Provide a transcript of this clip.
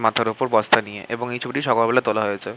মাথার ওপর বস্তা নিয়ে এবং এই ছবিটি সকাল বেলা তোলা হয়েছে।